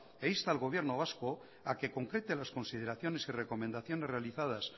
e insta al gobierno vasco a que concreta las consideraciones y recomendaciones realizadas